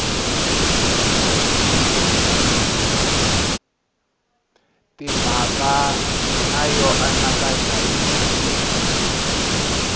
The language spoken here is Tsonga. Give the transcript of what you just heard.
timhaka na yo anakanya hi